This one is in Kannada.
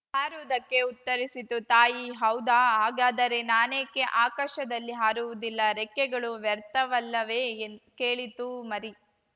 ಹಾರುವುದಕ್ಕೆ ಉತ್ತರಿಸಿತು ತಾಯಿ ಹೌದಾ ಹಾಗಾದರೆ ನಾನೇಕೆ ಆಕಾಶದಲ್ಲಿ ಹಾರುವುದಿಲ್ಲ ರೆಕ್ಕೆಗಳು ವ್ಯರ್ಥವಲ್ಲವೇ ಕೇಳಿತು ಮರಿ